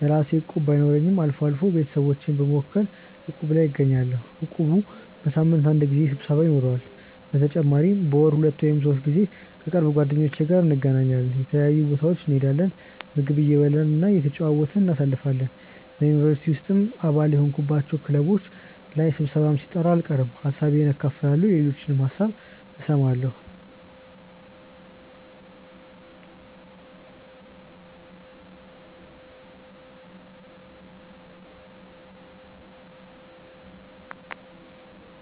የራሴ እቁብ ባይኖረኝም አልፎ አልፎ ቤተሰቦቼን በመወከል እቁብ ላይ እገኛለሁ። እቁቡ በሳምንት አንድ ጊዜ ስብሰባ ይኖረዋል። በተጨማሪም በወር ሁለት ወይም ሶስት ጊዜ ከቅርብ ጓደኞቼ ጋር እንገናኛለን። የተለያዩ ቦታዎች እንሄዳለን፣ ምግብ እየበላን እየተጨዋወትን እናሳልፋለን። በ ዩኒቨርሲቲ ውስጥም አባል የሆንኩባቸው ክለቦች ላይ ስብሰባም ሲጠራ አልቀርም። ሀሳቤን አካፍላለሁ የሌሎችንም ሀሳብ እሰማለሁ።